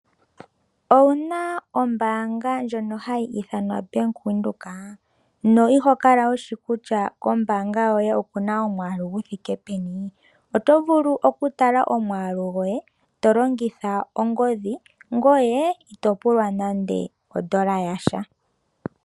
Owuna ombaanga ndjono hayi ithanwa Ombanga yaVenduka ? Ihokala wushi kutya kombaanga yoye okuna iimaliwa yithike peni? Oto vulu okutala omwaalu goye tolongitha ongodhi ngoye itopulwa nande ondola yasha.